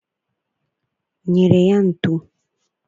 nyere ya ntu.